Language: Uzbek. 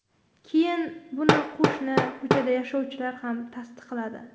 Keyin buni qo‘shni ko‘chada yashovchilar ham tasdiqladi.